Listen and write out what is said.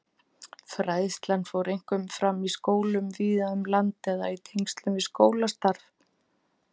Fræðslan fór einkum fram í skólum víða um land eða í tengslum við skólastarf.